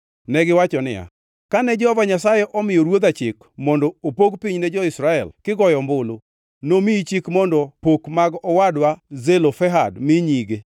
Negiwacho niya, “Kane Jehova Nyasaye omiyo ruodha chik mondo opog piny ne jo-Israel kigoyo ombulu, nomiyi chik mondo pok mag owadwa Zelofehad mi nyige.